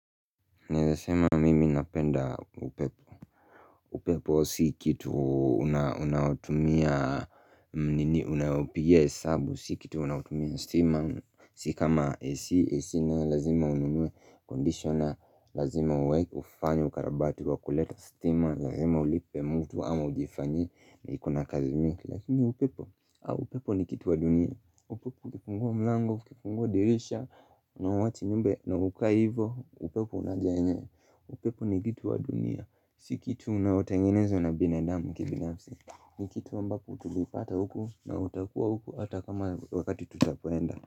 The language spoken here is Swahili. Naeza sema mimi napenda upepo. Upepo si kitu unaotumia nini unayopigia hesabu. Si kitu unaotumia stima Si kama AC. AC nayo lazima ununue conditioner, lazima ufanye ukarabati wa kuleta stima, lazima ulipe mtu ama ujifanyie, na iko na kazi mingi. Lakini upepo upepo ni kitu wa dunia. Upepo ukifungua mlango ukifungua dirisha na uwache nyumba na ukae hivyo upepo unajaa yenyewe upepo ni kitu wa dunia. Si kitu inayotengenezwa na binadamu kibinafsi. Ni kitu ambapo tulipata huku na utakuwa huku hata kama wakati tutapoenda.